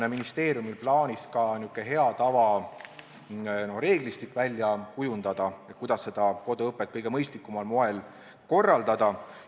Kas ministeeriumil on plaanis välja kujundada ka n-ö hea tava reeglistik, et koduõpet kõige mõistlikumal moel korraldada?